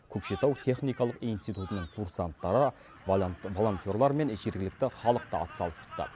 көкшетау техникалық институтының курсанттары волонтерлар мен жергілікті халық та атсалысыпты